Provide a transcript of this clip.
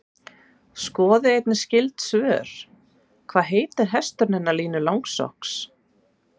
Skoðið einnig skyld svör: Hvað heitir hesturinn hennar Línu Langsokks?